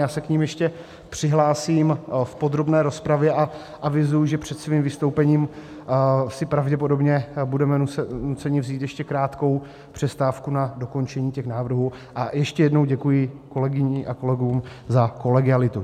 Já se k nim ještě přihlásím v podrobné rozpravě a avizuji, že před svým vystoupením si pravděpodobně budeme nuceni vzít ještě krátkou přestávku na dokončení těch návrhů, a ještě jednou děkuji kolegyním a kolegům za kolegialitu.